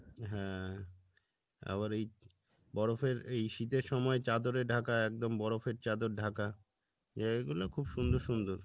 হ্যাঁ আবার এই বরফের এই শীতের সময় চাদরে ঢাকা একদম বরফের চাদর ঢাকা জায়গাগুলো খুব সুন্দর সুন্দর